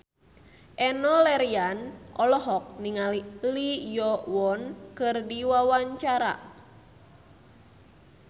Enno Lerian olohok ningali Lee Yo Won keur diwawancara